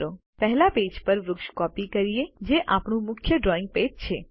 ચાલો પહેલા પેજ પર વૃક્ષ કોપી કરીએ જે આપણું મુખ્ય ડ્રોઈંગ પેજ છે